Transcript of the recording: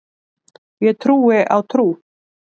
Ég trúi á trú.